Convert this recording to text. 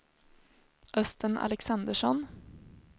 Östen Alexandersson